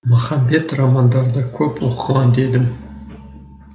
махамбет романдарды көп оқыған дедім